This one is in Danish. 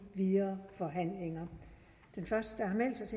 videre forhandlinger den første der